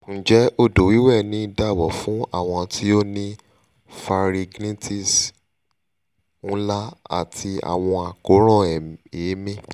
njẹ odo wiwe ni daabo fun awon ti o ni pharyngitis nla ati awọn akoran eemi?